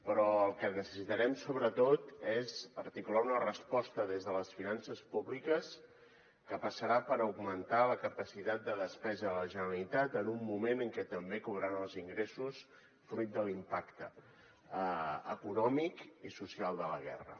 però el que necessitarem sobretot és articular una resposta des de les finances públiques que passarà per augmentar la capacitat de despesa de la generalitat en un moment en què també cauran els ingressos fruit de l’impacte econòmic i social de la guerra